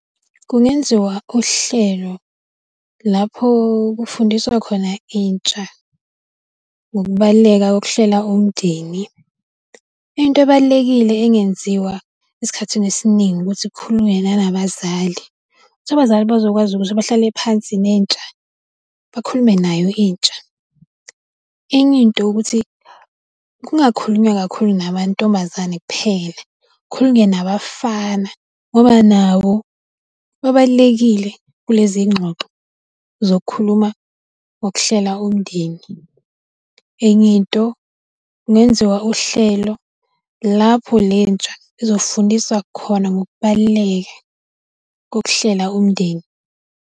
Kungenziwa uhlelo lapho kufundiswa khona intsha ngokubaluleka kokuhlela umndeni. Into ebalulekile engenziwa esikhathini esiningi ukuthi kukhulunywe nanabazali, ukuthi abazali bazokwazi ukuthi bahlale phansi nentsha, bakhulume nayo intsha. Enye into ukuthi, kungakhulunywa kakhulu namantombazane kuphela, kukhulunywe nabafana ngoba nabo babalulekile kulezi ngxoxo, zokukhuluma ngokuhlela umndeni. Enye into kungenziwa uhlelo lapho lentsha izofundiswa khona ngokubaluleka kokuhlela umndeni.